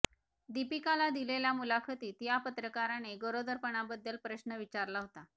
दीपिकाला दिलेल्या मुलाखतीत या पत्रकाराने गरोदरपणाबद्दल प्रश्न विचारला होता